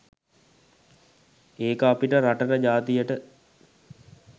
ඒක අපිට රටට ජාතියට